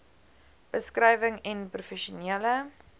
beskrywing n professionele